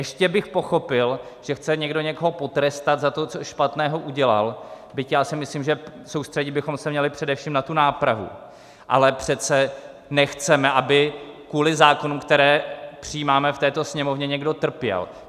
Ještě bych pochopil, že chce někdo někoho potrestat za to, co špatného udělal, byť já si myslím, že soustředit bychom se měli především na tu nápravu, ale přece nechceme, aby kvůli zákonům, které přijímáme v této Sněmovně, někdo trpěl."